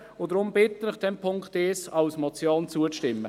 Deshalb bitte ich Sie, dem Punkt 1 als Motion zuzustimmen.